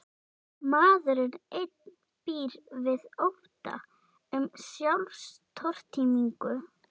Maðurinn einn býr við ótta um sjálfstortímingu.